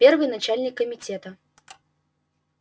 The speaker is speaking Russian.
первый начальник комитета